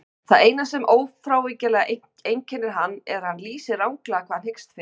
Það eina sem ófrávíkjanlega einkennir hann er að hann lýsir ranglega hvað hann hyggst fyrir.